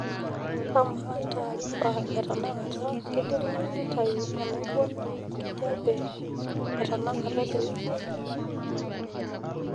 kamaa taarifa etenakata kidimayu nitau enaibon enkijape etanakata te wiki